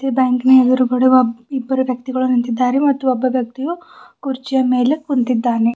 ಬ್ಯಾಂಕಿನ ಎದುರುಗಡೆ ಒಬ್ ಇಬ್ಬರು ವ್ಯಕ್ತಿಗಳು ನಿಂತಿದ್ದಾರೆ ಮತ್ತು ಒಬ್ಬ ವ್ಯಕ್ತಿಯು ಕುರ್ಚಿಯ ಮೇಲೆ ಕುಂತಿದ್ದಾನೆ.